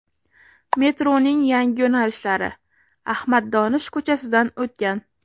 Metroning yangi yo‘nalishlari Ahmad Donish ko‘chasidan o‘tgan.